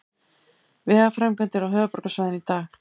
Vegaframkvæmdir á höfuðborgarsvæðinu í dag